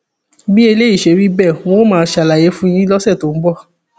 bí eléyìí ṣe rí bẹẹ n óò máa ṣàlàyé fún yín lọsẹ tó ń bọ